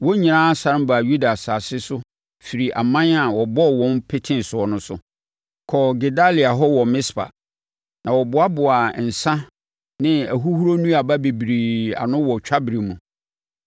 wɔn nyinaa sane baa Yuda asase so firi aman a wɔbɔɔ wɔn peteeɛ no so, kɔɔ Gedalia hɔ wɔ Mispa. Na wɔboaboaa nsã ne ahuhuro nnuaba bebree ano wɔ twaberɛ mu.